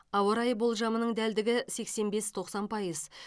ауа райы болжамының дәлдігі сексен бес тоқсан пайыз